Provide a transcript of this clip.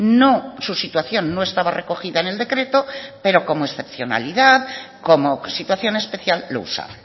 no su situación no estaba recogida en el decreto pero como excepcionalidad como situación especial lo usa